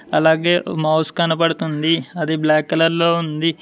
అలాగే మౌస్ కనపడుతుంది అది బ్లాక్ కలర్ లో ఉంది.